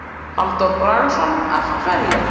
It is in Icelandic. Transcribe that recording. Halldór Bragason: Af hverju?